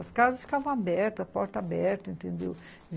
As casas ficavam abertas, a porta aberta, entendeu?